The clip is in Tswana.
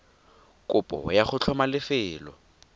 kopo ya go tlhoma lefelo